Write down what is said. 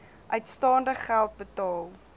uitstaande geld betaal